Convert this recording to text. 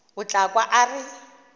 o tla kwa a re